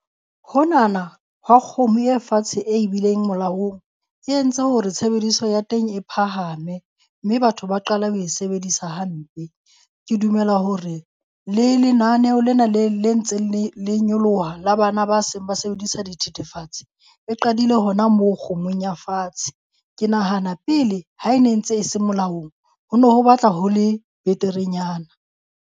Honana hwa kgomo e fatshe e bileng molaong e entse hore tshebediso ya teng e phahame, mme batho ba qala ho e sebedisa hampe. Ke dumela hore le lenaneho lena le le ntse le le nyoloha le bana ba seng ba sebedisa dithethefatse e qadile hona moo kgomong ya fatshe. Ke nahana pele ha e ne ntse e se molaong ho no ho batla ho le beterenyana.